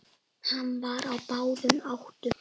Hann var á báðum áttum.